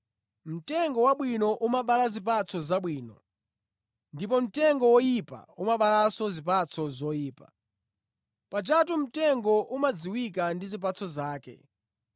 “Mtengo wabwino umabala zipatso zabwino ndipo mtengo woyipa umabalanso zipatso zoyipa, pajatu mtengo umadziwika ndi zipatso zake.